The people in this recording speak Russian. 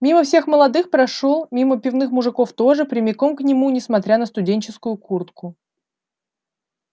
мимо всех молодых прошёл мимо пивных мужиков тоже прямиком к нему несмотря на студенческую куртку